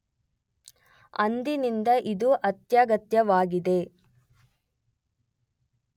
ಅಂದಿನಿಂದ ಇದು ಅತ್ಯಗತ್ಯವಾಗಿದೆ.